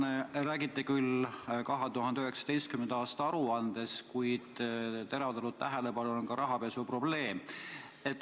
Te räägite küll 2019. aasta aruandest, kuid teravdatud tähelepanu all on ka rahapesuprobleem.